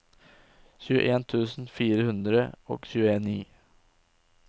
tjueen tusen fire hundre og tjueni